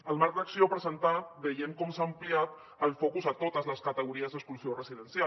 al marc d’acció presentat veiem com s’ha ampliat el focus a totes les categories d’exclusió residencial